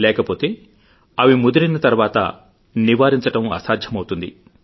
లేకపోతే అవి ముదిరిన తర్వాత నివారించడం అసాధ్యమవుతుంది